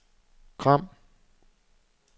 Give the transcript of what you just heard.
Gram